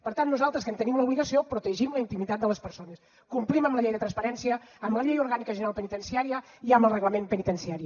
per tant nosaltres que en tenim l’obligació protegim la intimitat de les persones complim amb la llei de transparència amb la llei orgànica general penitenciària i amb el reglament penitenciari